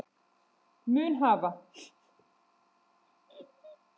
mun hafa